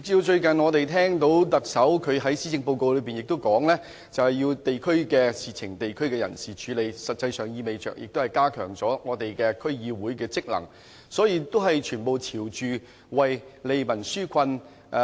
最近，我們聽到特首在施政報告中也指出，地區的事情由地區的人士處理，實際上亦意味着加強區議會的職能，所以全都是朝着利民紓困的方向去做。